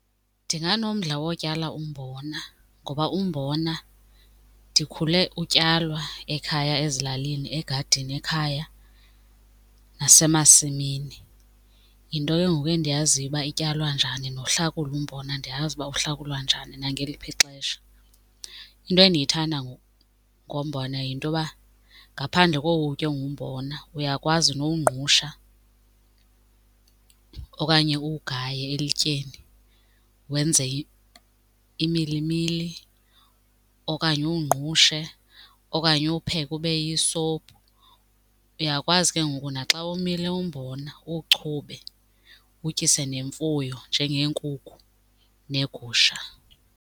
Ndinganomdla wotyala umbona ngoba umbona ndikhule utyalwa ekhaya ezilalini, egadini ekhaya nasemasimini. Yinto ke ngoku endiyaziyo uba ityalwa njani nohlakula umbona ndiyazi uba uhlakulwa njani nangeliphi ixesha. Into endiyithanda ngombona yinto yoba ngaphandle kowutya engumbona uyakwazi nowungqusha okanye uwugaye elityeni wenze imilimili okanye uwungqushe okanye uwupheke ube yisophu. Uyakwazi ke ngoku naxa womile umbona uwuchube uwutyise ngemfuyo njengeenkukhu neegusha.